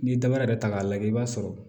N'i ye dabara yɛrɛ ta k'a lajɛ i b'a sɔrɔ